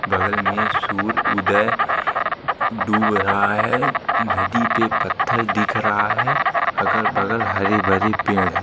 बगल में सूर्य उदय डूब रहा है नदी पे पत्थर दिख रहा है अगल बगल हरे भरे पेड़ हैं।